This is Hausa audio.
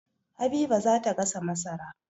Habiba za ta gasa masara.